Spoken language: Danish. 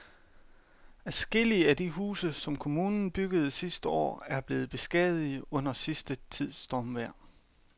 Adskillige af de huse, som kommunen byggede sidste år, er blevet beskadiget under den sidste tids stormvejr.